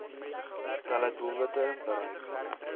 stelle doelwitte bereik